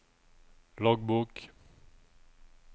loggbok